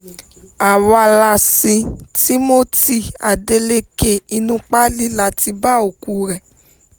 àwa la sin timothy adéléke inú páálí la ti bá òkú rẹ́